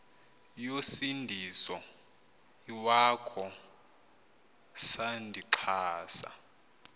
yosindiso iwakho sandixhasa